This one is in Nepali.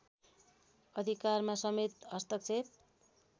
अधिकारमा समेत हस्तक्षेप